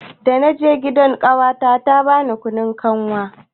Dana je gidan ƙawata ta bani kunun kanwa.